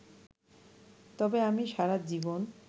তবে আমি সারা জীবন